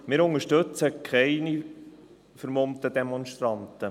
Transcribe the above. Wir unterstützen keine vermummten Demonstranten.